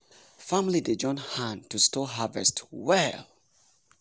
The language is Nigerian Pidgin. family dey join hand to store harvest well.